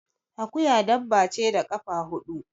Akuya dabba ce da kafa huɗu